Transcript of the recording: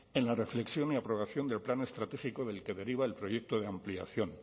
en la reflexión y aprobación de plan estratégico del que deriva el proyecto de ampliación